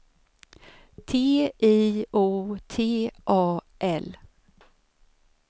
T I O T A L